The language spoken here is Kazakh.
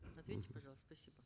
ответьте пожалуйста спасибо